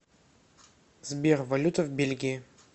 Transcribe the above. сбер валюта в бельгии